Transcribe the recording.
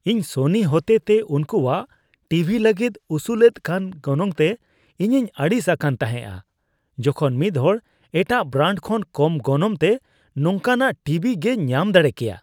ᱤᱧ ᱥᱚᱱᱤ ᱦᱚᱛᱮᱛᱮ ᱩᱱᱠᱚᱣᱟᱜ ᱴᱤ ᱵᱷᱤ ᱞᱟᱹᱜᱤᱫ ᱩᱥᱩᱞᱮᱫ ᱠᱟᱱ ᱜᱚᱱᱚᱝᱛᱮ ᱤᱧᱤᱧ ᱟᱹᱲᱤᱥ ᱟᱠᱟᱱ ᱛᱟᱦᱮᱸᱜᱼᱟ, ᱡᱚᱠᱷᱚᱱ ᱢᱤᱫᱦᱚᱲ ᱮᱴᱟᱜ ᱵᱨᱟᱱᱰ ᱠᱷᱚᱱ ᱠᱚᱢ ᱜᱚᱱᱚᱝᱛᱮ ᱱᱚᱝᱠᱟᱱᱟᱜ ᱴᱤᱵᱤ ᱜᱮᱭ ᱧᱟᱢ ᱫᱟᱲᱮ ᱠᱮᱭᱟ᱾